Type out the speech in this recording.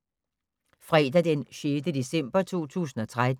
Fredag d. 6. december 2013